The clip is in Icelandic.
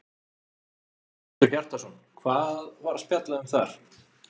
Hjörtur Hjartarson: Hvað var spjallað um þar?